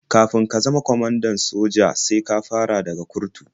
Kafin ka zama kwamanda a soja sai ka fara daga kurtu.